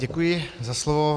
Děkuji za slovo.